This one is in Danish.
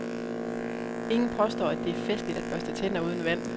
Ingen påstår at det er festligt at børste tænder uden vand.